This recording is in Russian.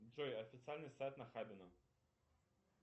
джой официальный сайт нахабино